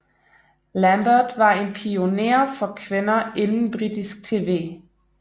Lambert var en pioner for kvinder inden britisk TV